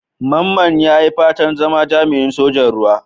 Mamman ya yi fatan zama jami'in Sojan Ruwa.